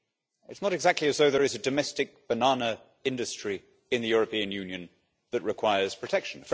It is not exactly as though there is a domestic banana industry in the European Union that requires protection.